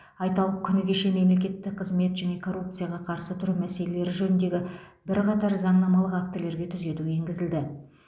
айталық күні кеше мемлекеттік қызмет және коррупцияға қарсы тұру мәселелері жөніндегі бірқатар заңнамалық актілерге түзету енгізілді